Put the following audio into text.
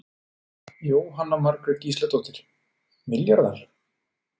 Jóhanna Margrét Gísladóttir: Milljarðar?